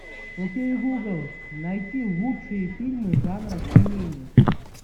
окей гугл найти лучшие фильмы жанра семейный